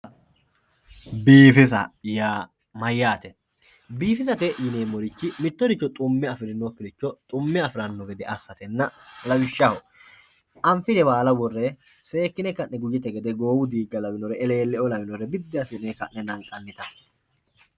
biifisa yaa mayaate biifisate yineemorich mittoricho xumme afirinokiricho xumme afiranno gede assatenna lawishshaho anfire baala worre seekine ka'ne mitegede goowu diiga lawinore eleele"oo lawinore biddi assine ka'ne la'nanita.